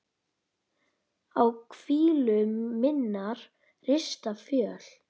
á hvílu minnar rista fjöl